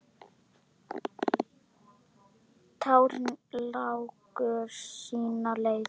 Tárin láku sína leið.